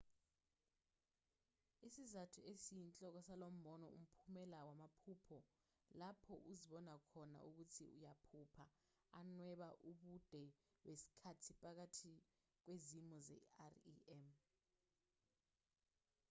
isizathu esiyinhloko salombono umphumela wamaphupho lapho uzibona khona ukuthi uyaphupha anweba ubude besikhathi phakathi kwezimo ze-rem